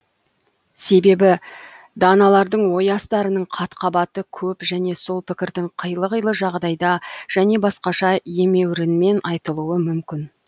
себебі даналардың ой астарының қат қабаты көп және сол пікірдің қилы қилы жағдайда және басқаша емеурінмен айтылуы мүмкін